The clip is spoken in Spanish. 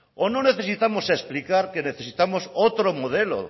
o no necesitamos explicar que necesitamos otro modelo